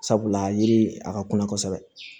Sabula yiri a ka kunna kosɛbɛ